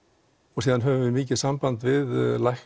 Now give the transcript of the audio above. og síðan höfum við mikið samband við